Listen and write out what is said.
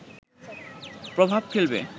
প্রভাব ফেলবে